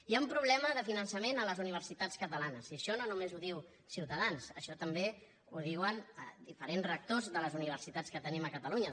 hi ha un problema de finançament a les universitats catalanes i això no només ho diu ciutadans això també ho diuen diferents rectors de les universitats que tenim a catalunya